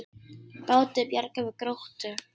Báti bjargað við Gróttu